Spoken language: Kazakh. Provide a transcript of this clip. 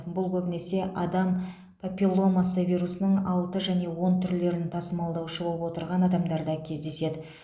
бұл көбінесе адам папилломасы вирусының алты және он түрлерін тасымалдаушы боп отырған адамдарда кездеседі